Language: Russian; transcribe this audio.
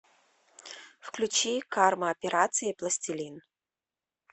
включи карма операции пластилин